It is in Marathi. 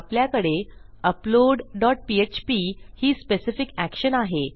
आपल्याकडे अपलोड डॉट पीएचपी ही स्पेसिफिक एक्शन आहे